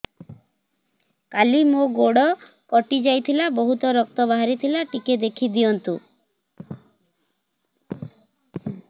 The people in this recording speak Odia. କାଲି ମୋ ଗୋଡ଼ କଟି ଯାଇଥିଲା ବହୁତ ରକ୍ତ ବାହାରି ଥିଲା ଟିକେ ଦେଖି ଦିଅନ୍ତୁ